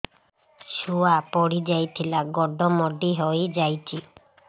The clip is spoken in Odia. ଛୁଆ ପଡିଯାଇଥିଲା ଗୋଡ ମୋଡ଼ି ହୋଇଯାଇଛି